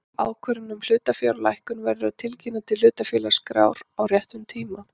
Ákvörðun um hlutafjárlækkun verður að tilkynna til hlutafélagaskrár á réttum tíma.